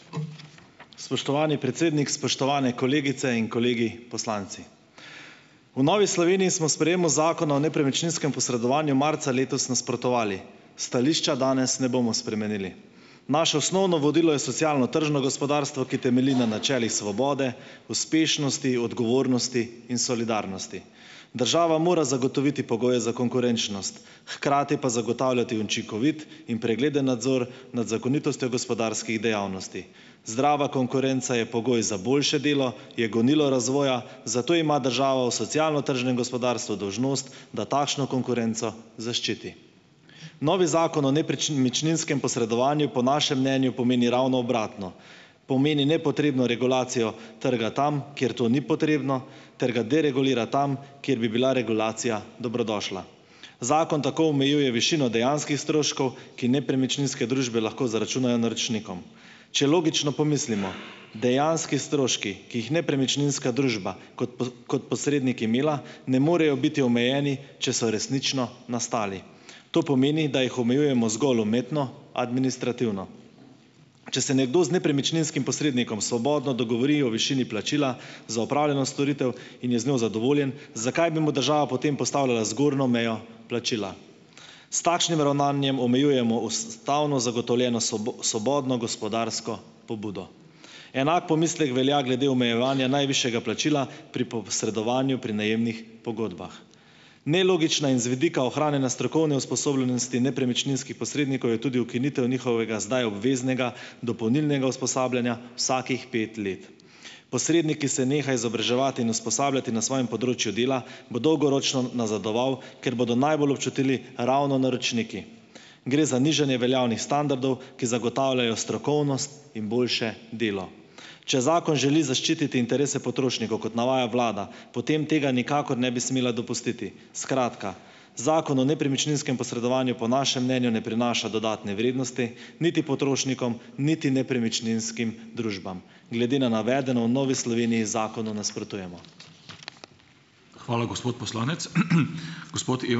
Spoštovani predsednik, spoštovane kolegice in kolegi poslanci! V Novi Sloveniji smo sprejemu Zakona o nepremičninskem posredovanju marca letos nasprotovali, stališča danes ne bomo spremenili. Naše osnovno vodilo je socialno-tržno gospodarstvo, ki temelji na načelih svobode, uspešnosti, odgovornosti in solidarnosti. Država mora zagotoviti pogoje za konkurenčnost, hkrati pa zagotavljati učinkovit in pregleden nadzor nad zakonitostjo gospodarskih dejavnosti. Zdrava konkurenca je pogoj za boljše delo, je gonilo razvoja, zato ima država v socialno-tržnem gospodarstvu dolžnost, da takšno konkurenco zaščiti. Novi Zakon o nepremičninskem posredovanju po našem mnenju pomeni ravno obratno. Pomeni nepotrebno regulacijo trga tam, kjer to ni potrebno, ter ga deregulira tam, kjer bi bila regulacija dobrodošla. Zakon tako omejuje višino dejanskih stroškov, ki nepremičninske družbe lahko zaračunajo naročnikom. Če logično pomislimo, dejanski stroški, ki jih nepremičninska družba kot kot posrednik imela, ne morejo biti omejeni, če so resnično nastali. To pomeni, da jih omejujemo zgolj umetno administrativno. Če se nekdo z nepremičninskim posrednikom svobodno dogovori o višini plačila za opravljeno storitev in je z njo zadovoljen, zakaj bi mu država potem postavljala zgornjo mejo plačila. S takšnim ravnanjem omejujemo ustavno zagotovljeno svobodno gospodarsko pobudo. Enak pomislek velja glede omejevanja najvišjega plačila pri posredovanju pri najemnih pogodbah. Nelogična in z vidika ohranjanja strokovne usposobljenosti nepremičninskih posrednikov je tudi ukinitev njihovega zdaj obveznega dopolnilnega usposabljanja vsakih pet let. Posrednik, ki se neha izobraževati in usposabljati na svojem področju dela, bo dolgoročno nazadoval, ker bodo najbolj občutili ravno naročniki. Gre za nižanje veljavnih standardov, ki zagotavljajo strokovnost in boljše delo. Če zakon želi zaščititi interese potrošnikov kot navaja vlada, potem tega nikakor ne bi smela dopustiti. Skratka, Zakon o nepremičninskem posredovanju po našem mnenju ne prinaša dodatne vrednosti niti potrošnikom niti nepremičninskim družbam. Glede na navedeno v Novi Sloveniji zakonu nasprotujemo.